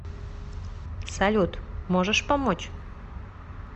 салют можешь помочь